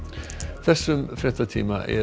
þessum fréttatíma er